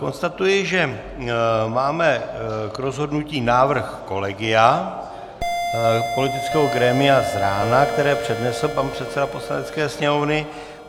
Konstatuji, že máme k rozhodnutí návrh kolegia politického grémia z rána, který přednesl pan předseda Poslanecké sněmovny.